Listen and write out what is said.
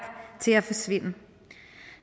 til at forsvinde